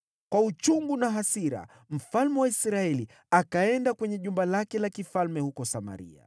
Kwa uchungu na hasira, mfalme wa Israeli akaenda kwenye jumba lake la kifalme huko Samaria.